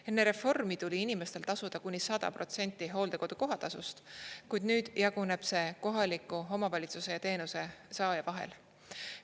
Enne reformi tuli inimestel tasuda kuni 100% hooldekodu kohatasust, kuid nüüd jaguneb see kohaliku omavalitsuse ja teenuse saaja vahel.